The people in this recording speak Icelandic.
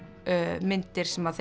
myndir sem þeim